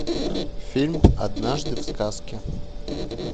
фильм однажды в сказке